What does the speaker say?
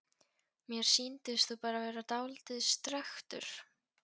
Mér sýndist þú bara vera dáldið strekktur.